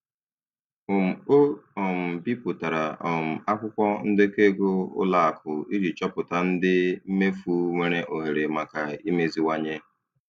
um O um bipụtara um akwụkwọ ndekọ ego ụlọ akụ iji chọpụta ụdị mmefu nwere ohere maka imeziwanye.